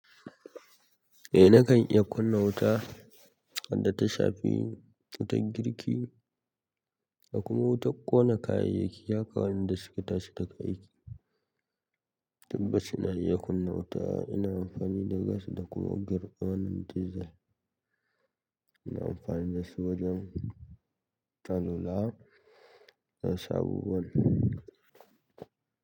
Eh nakan iya kunna wuta, wadda ta shafi wutar girki da kuma wutar ƙona kayayyaki haka wanda suka tashi daga aiki. Tabbas ina iya kunna wuta ina amfani da gas da kuma girman desel. Ina amfani da su wajen tallula na sabowan.